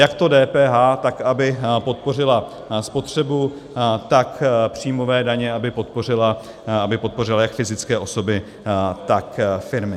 Jak to DPH, tak aby podpořila spotřebu, tak příjmové daně, aby podpořila jak fyzické osoby, tak firmy.